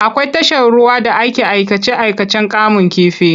Akwai tashar ruwa da ake aikace-aikacen kamun kifi.